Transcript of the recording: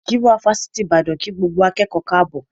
Gíwá Ifásitì Ìbàdàn kí gbogbo akẹ́kọ̀ọ́ káàbọ̀